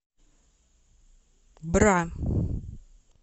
бра